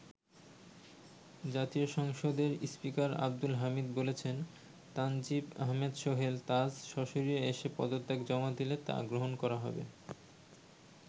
জাতীয় সংসদের স্পীকার আব্দুল হামিদ বলেছেন, তানজিম আহমেদ সোহেল তাজ সশরীরে এসে পদত্যাপত্র জমা দিলে তা গ্রহণ করা হবে।